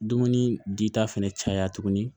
Dumuni dita fɛnɛ caya tuguni